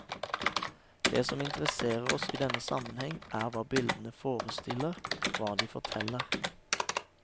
Det som interesserer oss i denne sammenheng, er hva bildene forestiller, hva de forteller.